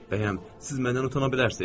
Bəyəm, siz məndən utana bilərsiz?